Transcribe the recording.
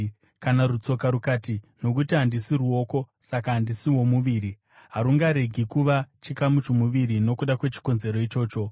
Kana rutsoka rukati, “Nokuti handisi ruoko, saka handisi womuviri,” harungaregi kuva chikamu chomuviri nokuda kwechikonzero ichocho.